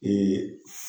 Ee